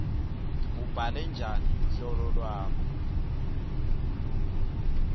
ubhale njani luhlolo lwakho